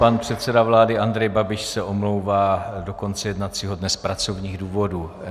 Pan předseda vlády Andrej Babiš se omlouvá do konce jednacího dne z pracovních důvodů.